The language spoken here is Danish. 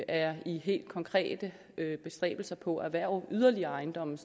er i helt konkrete bestræbelser på at erhverve yderligere ejendomme